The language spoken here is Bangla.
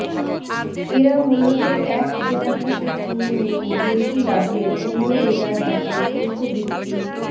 এরা মূলত এক জেলা থেকে কিনে নিয়ে বেশি লাভে অন্য জেলার হাটে পশু বিক্রি